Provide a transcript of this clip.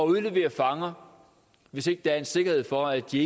udlevere fanger hvis ikke der er en sikkerhed for at de